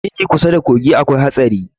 Gini kusa da kogi akwai haɗari